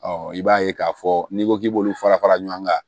i b'a ye k'a fɔ n'i ko k'i b'olu fara fara ɲɔgɔn kan